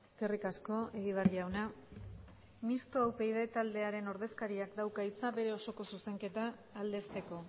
eskerrik asko egibar jauna mistoa upyd taldearen ordezkariak dauka hitza bere osoko zuzenketa aldezteko